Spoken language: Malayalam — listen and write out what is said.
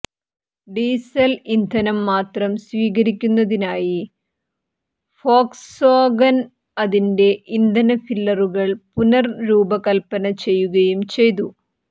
ഡീസൽ ഇന്ധനം മാത്രം സ്വീകരിക്കുന്നതിനായി ഫോക്സ്വാഗൻ അതിന്റെ ഇന്ധന ഫില്ലറുകൾ പുനർരൂപകൽപ്പന ചെയ്യുകയും ചെയ്തു